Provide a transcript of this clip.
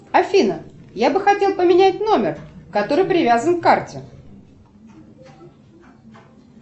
афина я бы хотел поменять номер который привязан к карте